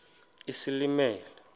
isilimela